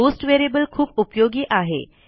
post variable खूप उपयोगी आहे